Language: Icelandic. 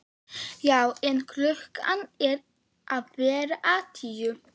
Já en. klukkan er að verða tíu!